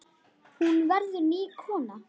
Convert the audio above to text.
Hún verður ný kona.